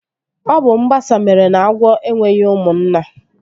Ọ bụ mgbasa mere na agwọ enweghị ụmụnna